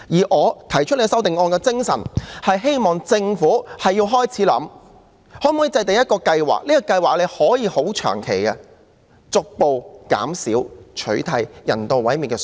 我提出修正案的精神，是希望政府開始想想可否制訂一項長期計劃，以逐步減少、取締人道毀滅的做法。